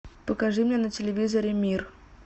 покажи мне на телевизоре мир